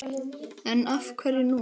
Lóa: En af hverju núna?